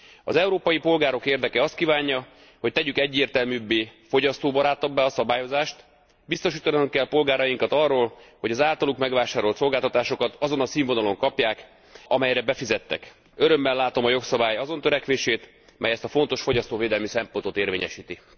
Az európai polgárok érdeke azt kívánja, hogy tegyük egyértelműbbé, fogyasztóbarátabbá a szabályozást, biztosítanunk kell polgárainkat arról, hogy az általuk megvásárolt szolgáltatásokat azon a színvonalon kapják, amelyre befizettek. Örömmel látom a jogszabály azon törekvését, mely ezt a fontos fogyasztóvédelmi szempontot érvényesíti.